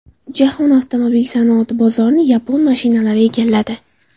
Jahon avtomobil sanoati bozorini yapon mashinalari egalladi.